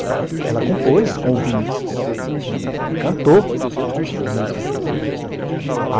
Ela compôs com o Vinícius e cantou músicas do Vinícius.